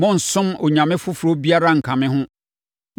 “Monnsom onyame foforɔ biara nnka me ho.